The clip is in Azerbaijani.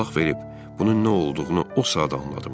Qulaq verib bunun nə olduğunu o saat anladım.